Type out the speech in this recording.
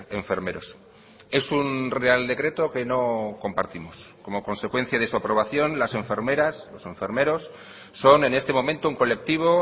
enfermeros es un real decreto que no compartimos como consecuencia de su aprobación las enfermeras los enfermeros son en este momento un colectivo